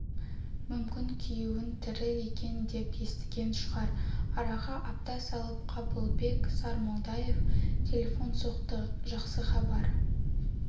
мүмкін күйеуін тірі екен деп естіген шығар араға апта салып қабылбек сармолдаев телефон соқты жақсы хабар